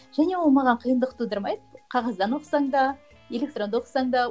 және ол маған қиындық тудырмайды қағаздан оқысаң да электронды оқысаң да